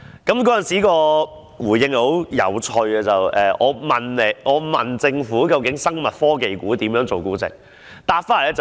當局的回應很有趣，我是問究竟生物科技股以何種標準來估值？